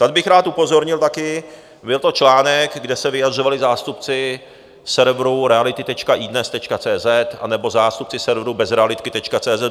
Tady bych rád upozornil taky, byl to článek, kde se vyjadřovali zástupci serveru Reality.idnes.cz, anebo zástupci serveru Bezrealitky.cz